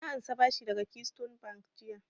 Na ansa bashi daga keystone bank jiya